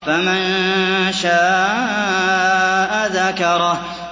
فَمَن شَاءَ ذَكَرَهُ